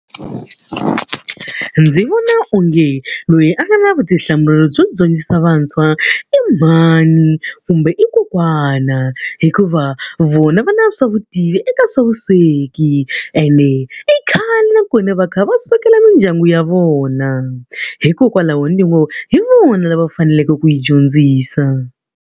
Ndzi vona onge loyi a nga na vutihlamuleri byo dyondzisa vantshwa i mhani kumbe i kokwana. Hikuva vona va na swa vutivi eka swa vusweki. Ene i khale nakona va kha va swekela mindyangu ya vona. Hikokwalaho ni ngo hi vona lava va faneleke ku hi dyondzisa.